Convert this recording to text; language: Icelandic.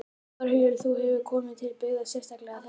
Þórhildur: Þú hefur komið til byggða sérstaklega fyrir þetta?